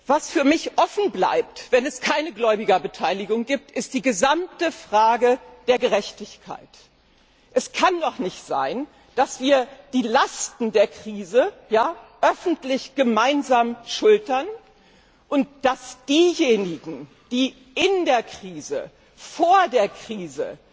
Was für mich offen bleibt, wenn es keine Gläubigerbeteiligung gibt, ist die gesamte Frage der Gerechtigkeit. Es kann doch nicht sein, dass wir die Lasten der Krise öffentlich gemeinsam schultern und dass diejenigen, die in der Krise, vor der Krise